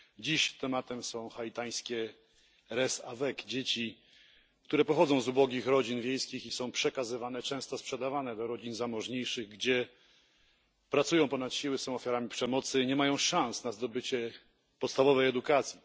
Dziś tematem są haitańskie dzieci, które pochodzą z ubogich rodzin wiejskich i są przekazywane, często sprzedawane zamożniejszym rodzinom, gdzie pracują ponad siły, są ofiarami przemocy, nie mają szans na zdobycie podstawowej edukacji.